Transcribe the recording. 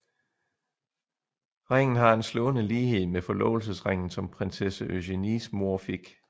Ringen har en slående lighed med forlovelsesringen som prinsesse Eugenies mor fik